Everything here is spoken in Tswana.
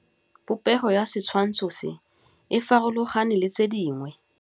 Popêgo ya setshwantshô se, e farologane le tse dingwe.